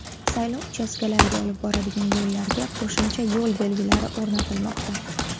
Saylov uchastkalariga olib boradigan yo‘llarga qo‘shimcha yo‘l belgilari o‘rnatilmoqda.